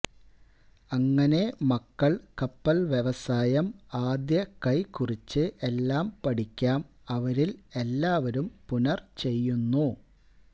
അങ്ങനെ മക്കൾ കപ്പൽ വ്യവസായം ആദ്യ കൈ കുറിച്ച് എല്ലാ പഠിക്കാം അവരിൽ എല്ലാവരും പുനർ ചെയ്യുന്നു